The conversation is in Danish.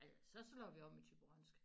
Så slår vi om i thyborønsk